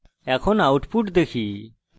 এখন output দেখি